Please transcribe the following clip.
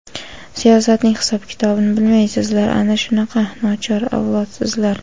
siyosatning hisob-kitobini bilmaysizlar - ana shunaqa nochor avlodsizlar!.